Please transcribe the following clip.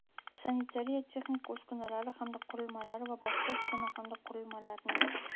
sanitariya-texnika uskunalari hamda qurilmalari va boshqa uskuna hamda qurilmalarni.